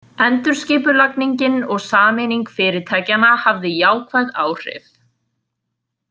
Endurskipulagningin og sameining fyrirtækjanna hafði jákvæð áhrif.